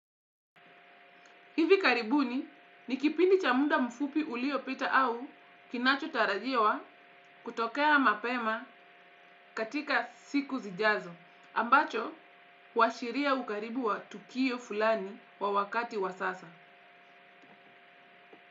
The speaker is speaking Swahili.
Hivi karibuni ni kipindi cha muda mfupi uliopita au kinachotarajiwa kutokea mapema katika siku zijazo ambacho huashiria ukaribu wa tukio fulani kwa wakati wa sasa.